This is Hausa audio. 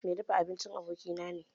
Mai dafa abincin abokina ne